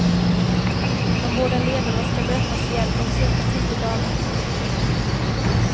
De båda ledarna ska mötas igen om cirka tio dagar.